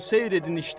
Seyr edin işdə.